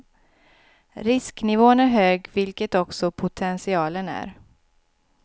Risknivån är hög vilket också potentialen är.